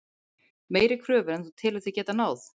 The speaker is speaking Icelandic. Meiri kröfur en þú telur þig geta náð?